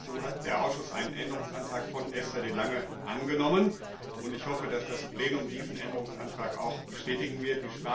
Dazu hat der Ausschuss einen Änderungsantrag von Esther de Lange angenommen. Ich hoffe, dass das Plenum diesen Änderungsantrag auch bestätigen wird.